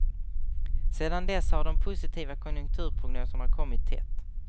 Sedan dess har de positiva konjunkturprognoserna kommit tätt.